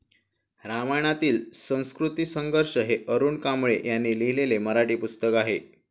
रामायणातील संस्कृतिसंघर्ष हे अरुण कांबळे यांनी लिहिलेले मराठी पुस्तक आहे.